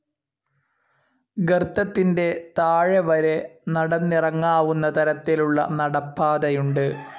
ഗർത്തത്തിൻ്റെ താഴെ വരെ നടന്നിറങ്ങാവുന്ന തരത്തിലുള്ള നടപ്പാതയുണ്ട്.